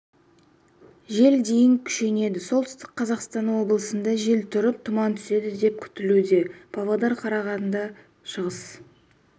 жел дейін күшейеді солтүстік қазақстан облысында жел тұрып тұман түседі деп күтілуде павлодар карағанды шығыс